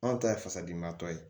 Anw ta ye fasadimibatɔ ye